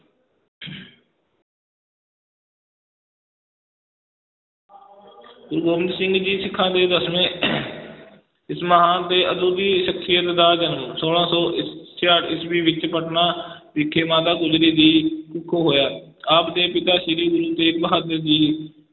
ਗੁਰੂ ਗੋਬਿੰਦ ਸਿੰਘ ਸਿੱਖਾਂ ਦੇ ਦਸਵੇਂ ਇਸ ਮਹਾਨ ਤੇ ਅਦੁੱਤੀ ਸਖ਼ਸੀਅਤ ਦਾ ਜਨਮ ਛੋਲਾਂ ਸੌ ਸ~ ਛਿਆਹਠ ਈਸਵੀ ਵਿੱਚ ਪਟਨਾ ਵਿਖੇ ਮਾਤਾ ਗੁਜਰੀ ਦੀ ਕੁਖੋਂ ਹੋਇਆ, ਆਪ ਦੇ ਪਿਤਾ ਸ੍ਰੀ ਗੁਰੂ ਤੇਗ ਬਹਾਦਰ ਜੀ